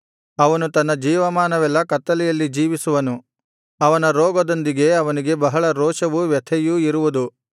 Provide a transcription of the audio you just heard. ಅವನು ತನ್ನ ಜೀವಮಾನವೆಲ್ಲಾ ಕತ್ತಲೆಯಲ್ಲಿ ಜೀವಿಸುವನು ಅವನ ರೋಗದೊಂದಿಗೆ ಅವನಿಗೆ ಬಹಳ ರೋಷವೂ ವ್ಯಥೆಯೂ ಇರುವುದು